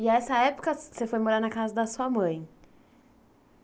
E essa época você foi morar na casa da sua mãe.